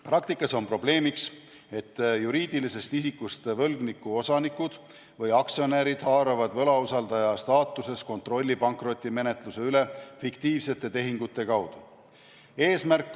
Praktikas on osutunud probleemiks, et juriidilisest isikust võlgniku osanikud või aktsionärid haaravad võlausaldaja staatuses kontrolli pankrotimenetluse üle fiktiivsete tehingute kaudu.